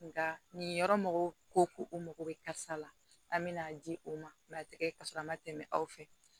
Nka nin yɔrɔ mɔgɔw ko ko o mago bɛ karisa la an bɛ n'a di o ma a tɛ kɛ ka sɔrɔ a ma tɛmɛ aw fɛ